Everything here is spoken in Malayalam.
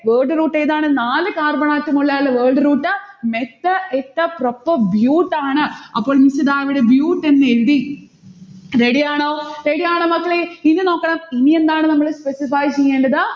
word root ഏതാണ്. നാല് carbon atom ഉള്ളയാൾ word root, meth eth prop bute ആണ്. അപ്പൊൾ miss ഇതാ bute എന്നെഴുതി. ready ആണോ? ready ആണോ മക്കളേ. ഇനി നോക്കണം ഇനി എന്താണ് നമ്മള് specify ചെയ്യേണ്ടത്